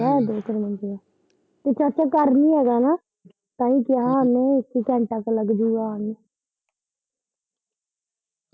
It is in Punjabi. ਹੈਗਾ ਦ ਕ ਮਿਲ ਦੂਰ ਤੇ ਚਾਚਾ ਘਰ ਨੀ ਹੈਗਾ, ਤਾਂਹੀ ਕਿਹਾ ਓਨੇ ਕਿ ਇੱਕ ਘੰਟਾ ਕ ਲੱਗਜੂ ਆਉਣ ਨੂੰ।